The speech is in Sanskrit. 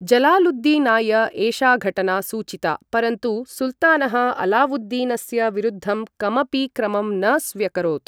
जलालुद्दीनाय एषा घटना सूचिता, परन्तु सुल्तानः अलावुद्दीनस्य विरुद्धं कमपि क्रमं न स्व्यकरोत्।